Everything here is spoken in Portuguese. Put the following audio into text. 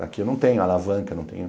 Daqui eu não tenho alavanca, não tenho...